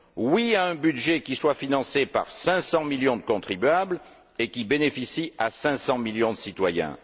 Oui à un budget qui soit financé par 500 millions de contribuables et qui bénéficie à 500 millions de citoyens.